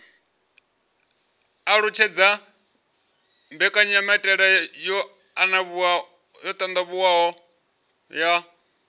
alutshedza mbekanyamaitele yo anavhuwaho ya